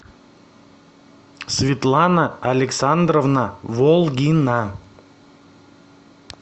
светлана александровна волгина